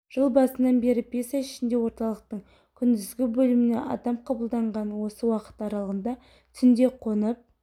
жыл басынан бері бес ай ішінде орталықтың күндізгі бөліміне адам қабылданған осы уақыт аралығында түнде қонып